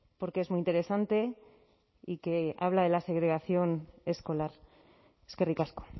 porque es muy interesante y que habla de la segregación escolar eskerrik asko